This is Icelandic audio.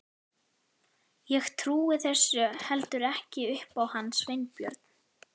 Ég trúi þessu heldur ekki upp á hann Sveinbjörn.